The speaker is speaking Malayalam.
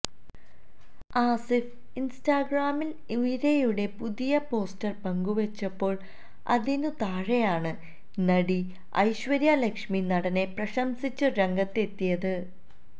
ആസിഫ് ഇൻസ്റ്റാഗ്രാമിൽ ഉയരെയുടെ പുതിയ പോസ്റ്റർ പങ്കുവച്ചപ്പോൾ അതിന് താഴെയാണ് നടി ഐശ്വര്യ ലക്ഷ്മി നടനെ പ്രശംസിച്ച് രംഗത്തെത്തിയത്